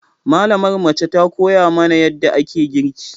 Malamar mace ta koya mana yadda ake girki.